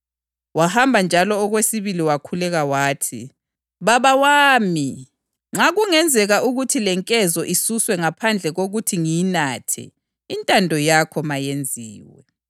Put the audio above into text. Lindani likhuleke ukuze lingaweli ekulingweni. Umoya uyathanda kodwa umzimba ubuthakathaka.”